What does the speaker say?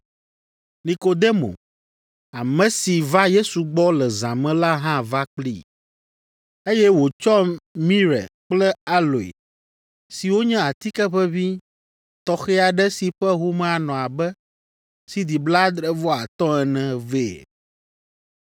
Nikodemo, ame si va Yesu gbɔ le zã me la hã va kplii, eye wòtsɔ mire kple aloe siwo nye atike ʋeʋĩ tɔxɛ aɖe si ƒe home anɔ abe sidi blaadre-vɔ-atɔ̃ ene vɛ.